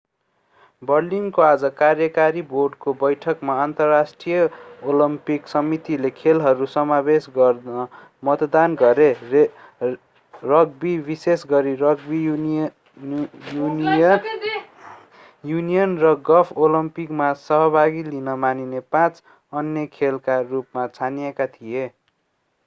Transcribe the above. बर्लिनको आज कार्यकारी बोर्डको बैठकमा अन्तर्राष्ट्रिय ओलम्पिक समितिले खेलहरू समावेश गर्न मतदान गरे रग्बी विशेष गरी रग्बी युनियन र गल्फ ओलम्पिकमा सहभागी लिन मानिने पाँच अन्य खेलका रूपमा छानिएका थिए